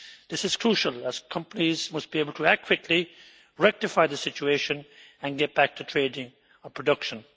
This is crucial, as companies must be able to act quickly, rectify the situation and get back to trading or production.